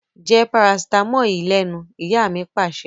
Jẹ́ paracetamol yìí lẹ́nu! Ìyá mi Pàṣẹ.